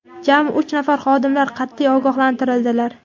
jami uch nafar xodimlar qat’iy ogohlantirildilar.